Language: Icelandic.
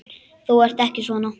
Þú ert ekki svona.